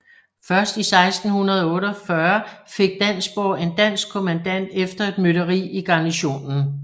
Først i 1648 fik Dansborg en dansk kommandant efter et mytteri i garnisonen